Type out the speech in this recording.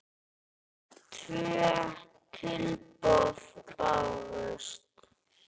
Tvö tilboð bárust.